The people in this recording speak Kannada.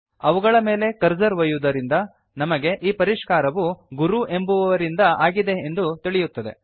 ಅವುಗಳ ಮೇಲೆ ಕರ್ಸರ್ ಒಯ್ಯುವುದರಿಂದ ನಮಗೆ ಈ ಪರಿಷ್ಕಾರವು ಗುರು ಎಂಬುವುವವರಿಂದ ಆಗಿದೆ ಎಂದು ತಿಳಿಯುತ್ತದೆ